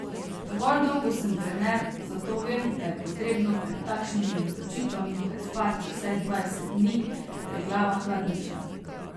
Dovolj dolgo sem trener, zato vem, da je potrebno pred takšnimi odločitvami prespati vsaj dvajset dni, da je glava hladnejša.